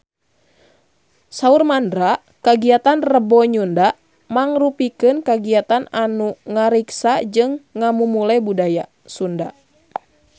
Saur Mandra kagiatan Rebo Nyunda mangrupikeun kagiatan anu ngariksa jeung ngamumule budaya Sunda